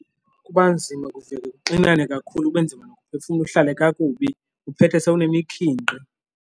Kuba nzima kuvele kuxinane kakhulu kube nzima nokuphefumla uhlale kakubi uphethe sowune mikhinkqi.